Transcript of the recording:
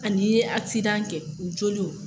An'i ye asidan kɛ joliw.